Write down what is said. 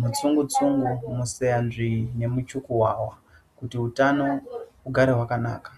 mutsungutsungu, museyanzvii nemuchukuwawa kuti utano hugare hwakanaka.